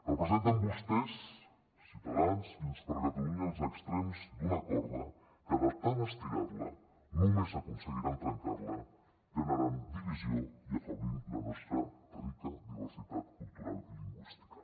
representen vostès ciutadans i junts per catalunya els extrems d’una corda que de tant estirar la només aconseguiran trencar la generant divisió i afeblint la nostra rica diversitat cultural i lingüística